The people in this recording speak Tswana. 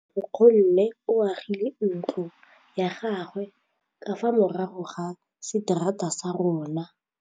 Nkgonne o agile ntlo ya gagwe ka fa morago ga seterata sa rona.